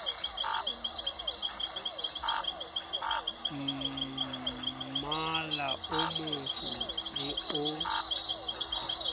mmala o motsho le o